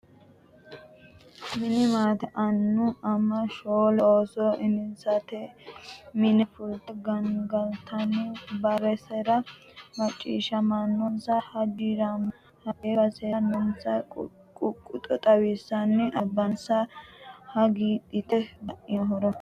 Mini maate annu ama shoole ooso insati mini fulte gangalantanni basera macciishshaminonsa hagiirenna hate basera noonsa ququxo xawisanni albaansa hagiidhate baino horo.